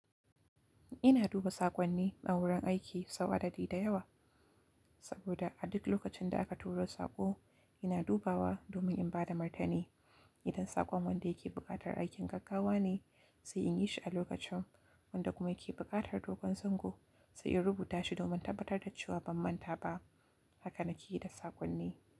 Ina duba saƙonni a wurin aiki sau adadi da yawa, saboda a duk lokacin da aka turo saƙo ina dubawa domin in bada martani. Idan saƙon wanda yake buƙatar aikin gaggawa ne sai in yi shi a lokacin, wanda kuma yake buƙatar dogon zango sai in rubuta shi domin tabbatar da cewa ban manta ba. Haka na ke yi da saƙonni.